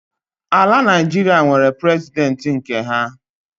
Ala Naịjiria nwere President nke ha